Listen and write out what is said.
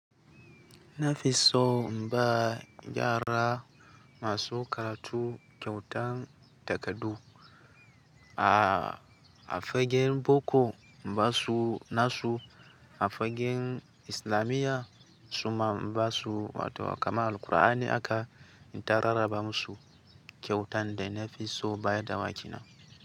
Nafiso in ba yara masu karatu kyautan takardu a fagen boko, ba su nasu a fagen islamiyya, suma in ba su wato kama Alqur'ani haka in ta rarraba masu kyautan da Nafiso ba ya dawaki na.